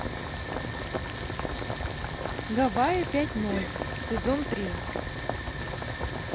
гавайи пять ноль сезон три